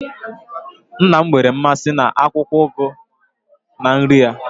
Nna'm nwere mmasị na akwukwo ugu na nri ya